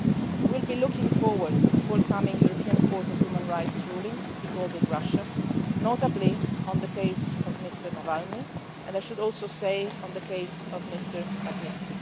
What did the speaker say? We will be looking forward to forthcoming European Court of Human Rights rulings involving Russia, notably on the case of Mr Navalny and, I should also say, on the case of Mr Magnitsky.